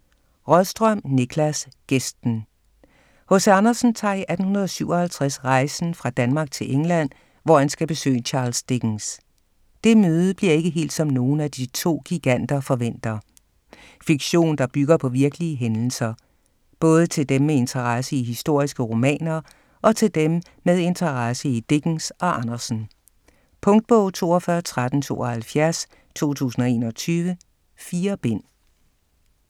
Rådström, Niklas: Gæsten H.C. Andersen tager i 1857 rejsen fra Danmark til England, hvor han skal besøge Charles Dickens. Det møde bliver ikke helt, som nogen af to giganter forventer. Fiktion, der bygger på virkelige hændelser. Både til dem med interesse i historiske romaner og til dem med interesse i Dickens og Andersen. Punktbog 421372 2021. 4 bind.